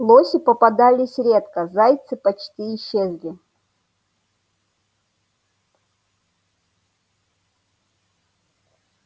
лоси попадались редко зайцы почти исчезли